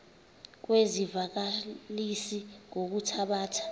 kwezi zivakalisi ngokuthabatha